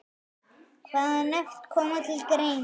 Hvaða nöfn koma til greina?